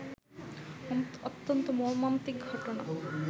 অত্যন্ত মর্মান্তিক ঘটনা